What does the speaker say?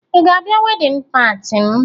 Ị ga-abịa wedịn pati m?